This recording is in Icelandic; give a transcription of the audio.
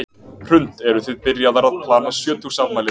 Hrund: Eruð þið byrjaðar að plana sjötugsafmælið?